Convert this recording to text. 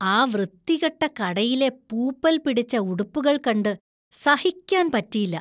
ആ വൃത്തികെട്ട കടയിലെ പൂപ്പൽ പിടിച്ച ഉടുപ്പുകള്‍ കണ്ടു സഹിക്കാൻ പറ്റിയില്ല.